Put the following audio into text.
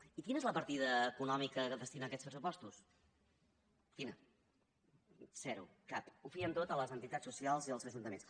i quina és la partida econòmica que hi destinen aquests pressupostos quina zero cap ho fien tot a les entitats socials i als ajuntaments